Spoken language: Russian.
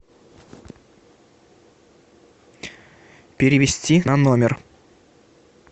перевести на номер